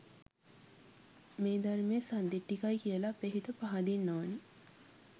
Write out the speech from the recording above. මේ ධර්මය සන්දිට්ඨිකයි කියලා අපේ හිත පහදින්න ඕන.